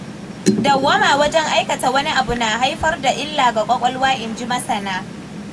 Dawwama wajen aikata wani abu na haifar da illa ga ƙwaƙwalwa in ji masana.